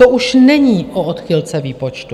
To už není o odchylce výpočtu.